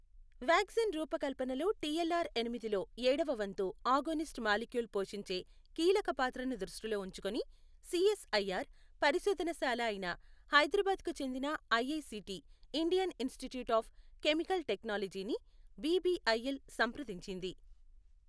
Vaccine రూపకల్పనలో TLR ఎనిమిదిలో ఎడవ వంతు ఆగోనిస్ట్ మాలిక్యూల్ పోషించే కీలక పాత్రను దృష్టిలో ఉంచుకుని సిఎస్ఐఆర్ పరిశోధన శాల అయిన హైదరాబాద్కు చెందిన IICT Indian Institute of Chemical టెక్నాలజీని బిబిఐఎల్ సంప్రదించింది.